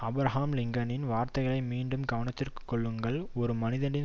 Abraham லிங்கனின் வார்த்தைகளை மீண்டும் கவனத்திற்கொள்ளுங்கள் ஒரு மனிதனது